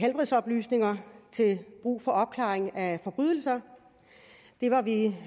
helbredsoplysninger til brug for opklaring af forbrydelser det var vi